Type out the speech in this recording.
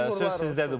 Söz sizdədir, buyurun.